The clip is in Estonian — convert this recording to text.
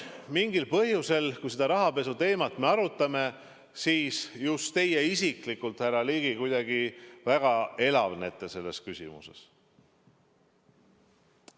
Mingil põhjusel, kui me seda rahapesuteemat arutame, siis just teie isiklikult, härra Ligi, kuidagi väga elavnete selles küsimuses.